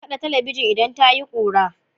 Ana kaɗe talabijin idan tayi kura.